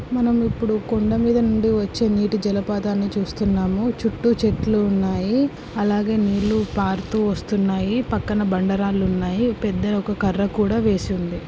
మనం ఇప్పుడు కొండమీద నుండి వచ్చే నీటి జలపాతాన్ని చూస్తున్నాము చుట్టూ చెట్లు ఉన్నాయి అలాగే నీళ్లు పారుతూ వస్తున్నాయి పక్కన బండరాళ్లు ఉన్నాయి పెద్దని ఒక కర్ర కూడ వేసి వుంది.